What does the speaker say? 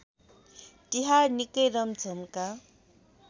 तिहार निकै रमझमका